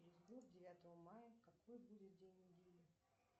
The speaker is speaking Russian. через год девятого мая какой будет день недели